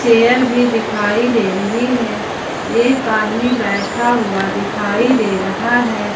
Chair भी दिखाई दे रही है एक आदमी बैठा हुआ दिखाई दे रहा है।